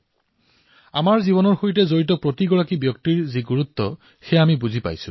আজি নিজৰ জীৱনৰ সৈতে জড়িত প্ৰতিজন ব্যক্তিৰ গুৰুত্ব অনুধাৱন হৈছে